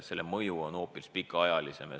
Sellel on pikaajaline mõju.